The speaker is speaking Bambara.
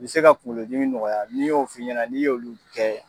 Be se ka kuŋolo dimi nɔgɔya, ni n y'o f'i ɲɛna n'i y'olu kɛ